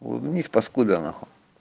вниз паскуда нахуй